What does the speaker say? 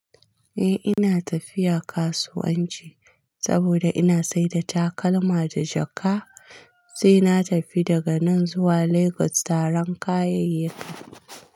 Eh ina tafiya kasuwanci saboda ina saida takalma da jaka sai na tafi daga nan zuwa Lagos taran kayayyaki.